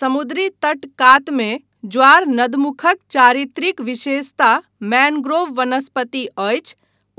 समुद्री तट कातमे ज्वार नदमुखक चारित्रिक विशेषता मैन्ग्रोव वनस्पति अछि,